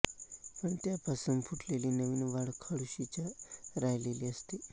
पण त्यापासून फुटलेली नवीन वाढ खोडाशीच राहिलेली असते